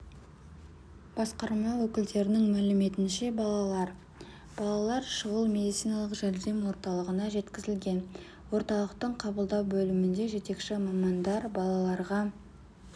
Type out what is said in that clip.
басқарма өкілдерінің мәліметінше балалар балалар шұғыл медициналық жәрдем орталығына жеткізілген орталықтың қабылдау бөлімінде жетекші мамандар балаларға